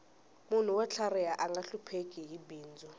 munhu wo tlhariha anga hlupheki hi bindzu